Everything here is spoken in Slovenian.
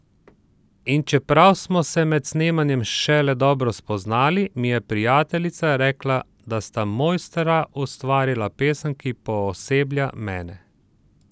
In čeprav smo se med snemanjem šele dobro spoznali, mi je prijateljica rekla, da sta mojstra ustvarila pesem, ki pooseblja mene!